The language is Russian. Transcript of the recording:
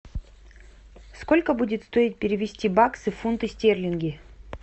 сколько будет стоить перевести баксы в фунты стерлинги